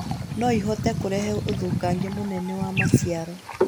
no ĩhote kũrehe ũthũkangia mũnene wa maciaro